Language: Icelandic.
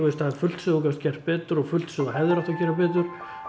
fullt sem þú gast gert betur og fullt sem þú hefðir átt að gera betur